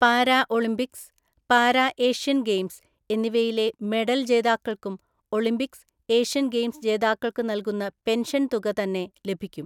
Para Olympics, para Asian games എന്നിവയിലെ medal‍ ജേതാക്കള്‍ക്കും Olympics, Asian‍ ഗെയിംസ്ജേതാക്കള്‍ക്കു നല്കുന്ന പെന്ഷന്‍ തുക തന്നെ ലഭിക്കും.